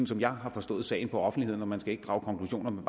som jeg har forstået sagen i offentligheden og man skal ikke drage konklusioner men